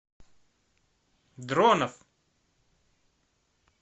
дронов